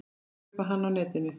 Það kaupi hann á netinu.